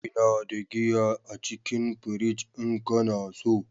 Ina da giya a cikin fridge in kana so.